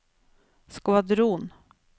skvadron